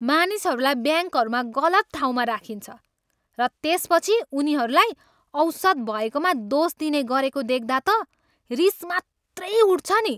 मानिसहरूलाई ब्याङ्कहरूमा गलत ठाउँमा राखिन्छ, र त्यसपछि उनीहरूलाई औसत भएकोमा दोष दिने गरेको देख्दा त रिस मात्रै उठ्छ नि।